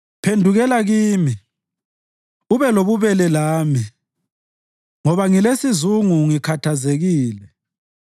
Phendukela kimi ube lobubele lami, ngoba ngilesizungu, ngikhathazekile.